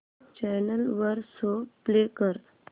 channel वर show play कर